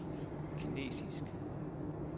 kinesisk